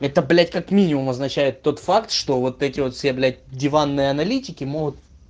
это блять как минимум означает тот факт что вот эти вот все блять диванные аналитики могут